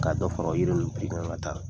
Ka dɔ fara o yiri ninnu piri kan taa